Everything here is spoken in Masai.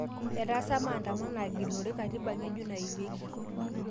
Etaasa maandamano aagilunore katiba nge'juk naimieki.